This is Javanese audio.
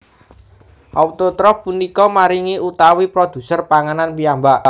Autotrof punika maringi utawi produser panganan piyambak